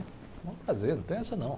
É um prazer, não tem essa não.